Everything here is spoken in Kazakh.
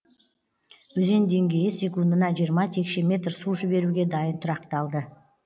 өзен деңгейі секундына жиырма текше метр су жіберуге дайын тұрақталды